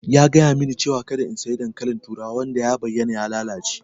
Ya gayamin ni cewa kada in sayi dankalin turawa wanda ya bayyana ya lalace.